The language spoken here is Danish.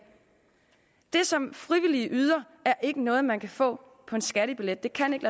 det som frivillige yder er ikke noget man kan få på en skattebillet det kan ikke